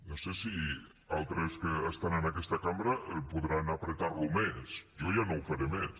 no sé si altres que estan en aquesta cambra podran apretar lo més jo ja no ho faré més